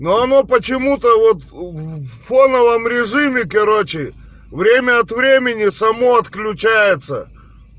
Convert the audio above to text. но оно почему-то вот в фоновом режиме короче время от времени само отключается